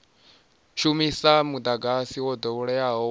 shumisa mudagasi wo doweleaho wa